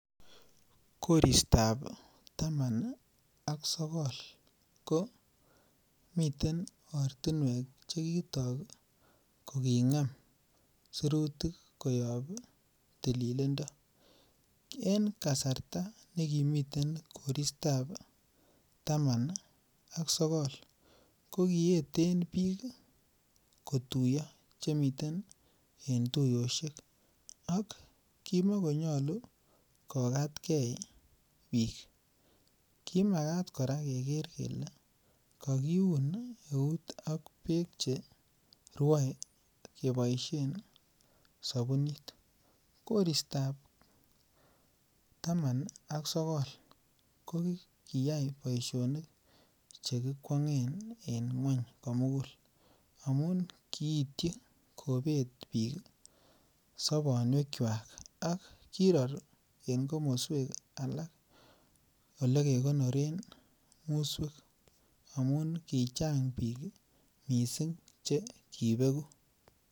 Koristab taman ak sogol komiten ortinwek chekitok kokingem sirutik koyob tililindo, en kasarta nekimiten koristab taman ak sogol kokiyeten bik kotuyo chemiten tuyoshek ak kimokonyolu kokat kee bik kimakaat koraa keker kele kokiun eut ok beek cherwoe keboishen sobunit, koristab taman ak sogol kokiyai boisionik chekikwongen en ngweny komugul amun kiitchi kobet bik sobonwekwak ak kiror en komoswek alak elekekonoren muswek amun kichang bik missing' chekibeku.